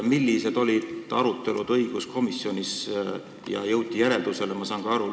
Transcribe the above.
Millised olid arutelud õiguskomisjonis ja millisele järeldusele jõuti?